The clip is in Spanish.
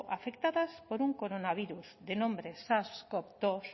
afectadas por un coronavirus de nombre sars cov dos